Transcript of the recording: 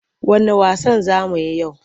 Wanne wasan za mu yi yau?